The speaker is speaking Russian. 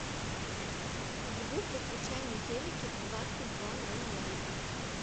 звук выключай на телике в двадцать два ноль ноль